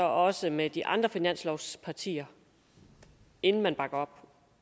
også med de andre finanslovspartier inden man bakker